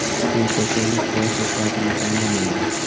Bu kasallik yosh-u qarini tanlamaydi.